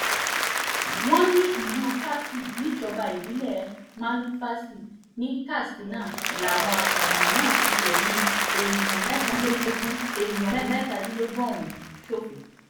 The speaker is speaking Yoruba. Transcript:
wọ́n ní ìlú karfi níjọba ìbílẹ̀ malumfashi ní katsina làwọn apààyàn náà ti fẹ̀mí èèyàn mẹ́tàdínlógún èèyàn mẹ́tàdínlógún ọ̀hún ṣòfò